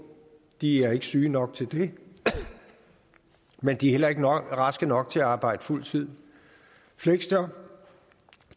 de er ikke syge nok til det men de er heller ikke raske nok til at arbejde fuld tid fleksjob